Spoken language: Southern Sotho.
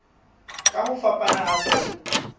ka ho fapana ha tsona